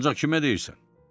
Ancaq kimə deyirsən?